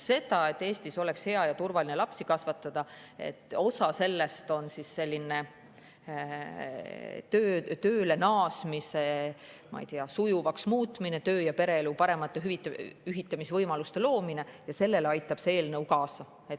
Sellele, et Eestis oleks hea ja turvaline lapsi kasvatada – osa sellest on tööle naasmise sujuvaks muutmine, töö- ja pereelu parema ühitamise võimaluste loomine –, aitab see eelnõu kaasa.